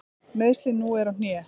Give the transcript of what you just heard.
Meiðslin nú eru á hné.